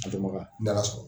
A dɔnbaga, n'Ala sɔnna.